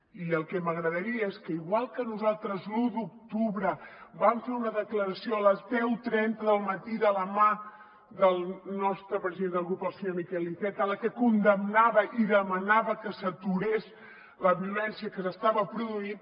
i el que m’agradaria és que igual que nosaltres l’un d’octubre vam fer una declaració a les deu trenta del matí de la mà del nostre president de grup el senyor miquel iceta en la que condemnava i demanava que s’aturés la violència que s’estava produint